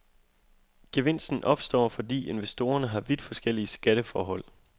Gevinsten opstår, fordi investorerne har vidt forskellige skatteforhold.